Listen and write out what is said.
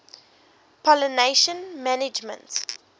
pollination management